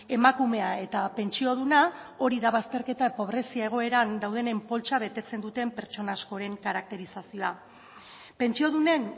emakumea eta pentsioduna hori da bazterketa pobrezia egoeran daudenen poltsa betetzen duten pertsona askoren karakterizazioa pentsiodunen